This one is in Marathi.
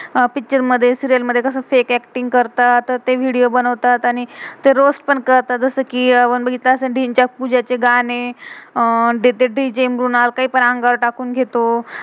अह पिक्चर picture मधे, सीरियल serial मधे, कसं फेक fake एक्टिंग acting करतात. तर ते विडियो video बनवतात. आणि ते रोअस्त पण करतात. जसं कि आपण बघितलं असेल धिम्च्यक पूजा चे गाणे. अं डीजे DJ मृणाल का्य पण अंगावर टाकुन घेतो.